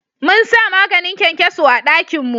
Mun sa maganin kyankyaso a dakin mu